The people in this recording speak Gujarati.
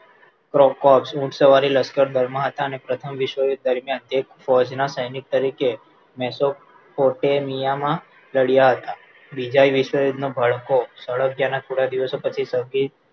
ઊંટ સવારી લશ્કર દળમાં હતા અને પ્રથમ વિશ્વ્ યુદ્ધ દરમિયાનતે ફૌજ સૈનિક તરીકે મેસો ફોરટેમીયા માં લડ્યા હતા બીજા વિશ્વ યુદ્ધનો ભડકો સળગ્યાના થોડા દિવસો પછી સંગે